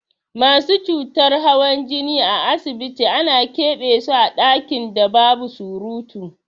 Masu cutar hawan jini a asibiti ana ƙebe so a ɗakin da babu surutu.